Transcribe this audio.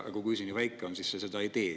Aga kui see nii väike on, siis see seda ju ei tee.